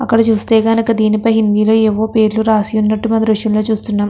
అక్కడ చూస్తే కనుక దీనిపై హిందీ లో ఎవరు పేర్లు రాసి ఉన్నట్టు మనం ఈ దృశ్యంలో చుస్తునాం.